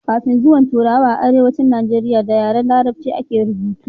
kafin zuwan turawa a arewacin najeriya da yaren larabci a ke rubutu